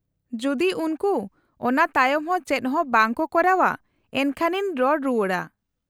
-ᱡᱩᱫᱤ ᱩᱱᱠᱩ ᱚᱱᱟ ᱛᱟᱭᱚᱢ ᱦᱚᱸ ᱪᱮᱫ ᱦᱚᱸ ᱵᱟᱝ ᱠᱚ ᱠᱚᱨᱟᱣᱼᱟ, ᱮᱱᱠᱷᱟᱱ ᱤᱧ ᱨᱚᱲ ᱨᱩᱣᱟᱹᱲᱟ ᱾